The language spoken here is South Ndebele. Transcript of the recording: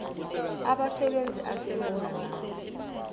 abasebenzi asebenza nabo